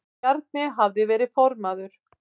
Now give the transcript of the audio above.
Bjarni hafði verið formaður